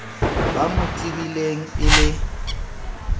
ba mo tsebileng e le